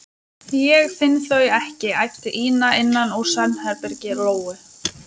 Ég finn þau ekki, æpti Ína innan úr svefnherbergi Lóu.